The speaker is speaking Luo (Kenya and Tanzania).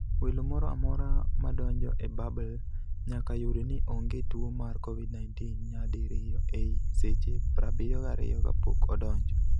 Welo moro amora ma donjo e bubble nyaka yud ni onge tuo mar Covid-19 nyadi riyo ei seche 72 kapok odonjo.